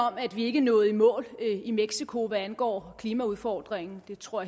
om at vi ikke nåede i mål i mexico hvad angår klimaudfordringen det tror